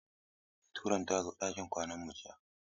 Meturon ta zo ɗakin kwanan mu jiya.